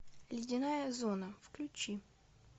ледяная зона включи